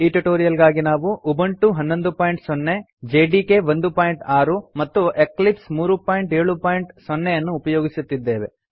ಈ ಟ್ಯುಟೋರಿಯಲ್ ಗಾಗಿ ನಾವು ಉಬುಂಟು 110 ಜೆಡಿಕೆ 16 ಮತ್ತು ಎಕ್ಲಿಪ್ಸ್ 370 ಯನ್ನು ಉಪಯೋಗಿಸುತ್ತಿದ್ದೇವೆ